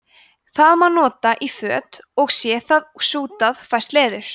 það má nota í föt og sé það sútað fæst leður